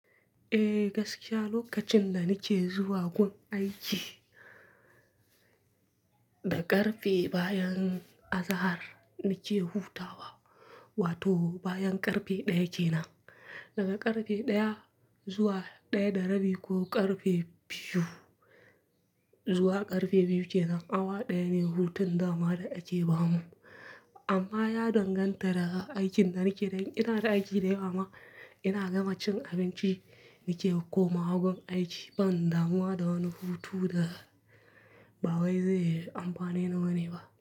Eh, gaskiya lokacin da nike zuwa gun aiki da karfe bayan azahar nike hutawa wato bayan karfe ɗaya kenan. Daga karfe ɗaya zuwa ɗaya da rabi ko karfe biyu zuwa karfe biyu kenan awa ɗaya ne hutun dama da ake bamu. Amma ya danganta daga aikin da nike dan ina da aiki da yawa ina gama cin abinci nike komawa gun aiki ban damuwa da wani hutu da ba wai zai yi amfani na wane ba.